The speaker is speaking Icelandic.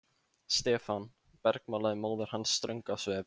Stefán! bergmálaði móðir hans ströng á svip.